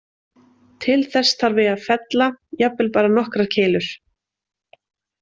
Til þess þarf ég að fella, jafnvel bara nokkrar keilur.